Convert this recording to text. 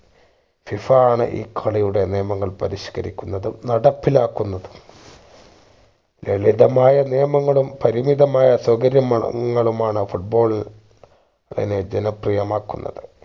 FIFA ആണ് ഈ കളിയുടെ നിയമങ്ങൾ പരിഷ്‌ക്കരിക്കുന്നതും നടപ്പിലാക്കുന്നതും ലളിതമായ നിയമങ്ങളും പരിമിതമായ സൗകര്യമാണ് ങ്ങളുമാണ് foot ball നെ ജനപ്രിയമാക്കുന്നത്